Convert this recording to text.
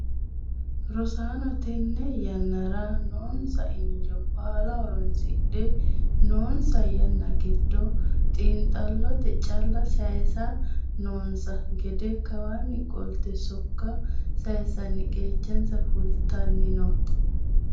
Rosaano tene yannara noonsa injo baalla horonsidhe noonsa yanna giddo xinxallote calla sayisa noonsa gede kawani qolte sokka saysanni qechansa fultanni no.